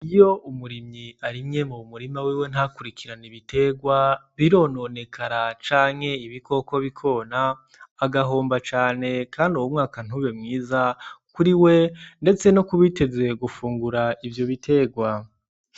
Iyo umurimyi arimye mu bumurima wiwe ntakurikirana ibiterwa birononekara canke ibikoko bikona agahomba cane, kandi ubumwaka ntube mwiza kuri we, ndetse no kubiteze gufungura ivyo biterwa.